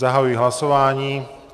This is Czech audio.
Zahajuji hlasování.